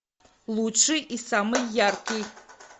лучший и самый яркий